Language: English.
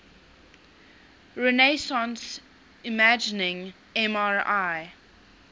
resonance imaging mri